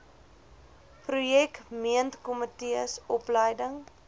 projek meentkomitees opleiding